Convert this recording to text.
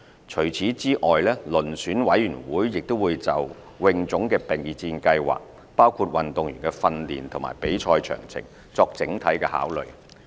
除此之外，遴選委員會亦會就泳總的備戰計劃，包括運動員的訓練和比賽詳情，作整體考慮。